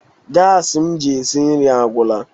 Gasi m ji esi nri agwụla.